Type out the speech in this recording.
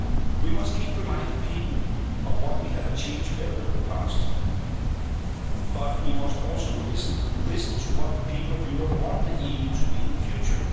We must keep reminding people of what we have achieved together in the past, but we must also listen listen to what the people of Europe want the EU to be in the future.